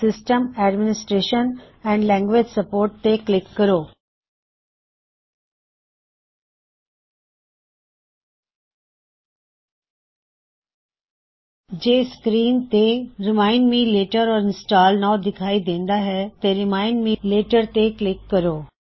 system administration and language support ਤੇ click ਕਰੋ ਜੇ ਸਕ੍ਰੀਨ ਤੇ remind me later or install now remind me later or install now ਦਿਖਾਈ ਦੇਂਦਾ ਹੇ ਤੇ ਰਿਮਾਇਨਡ ਮੀ ਲੇਟਰ ਤੇ ਕਲਿੱਕ ਕਰੋ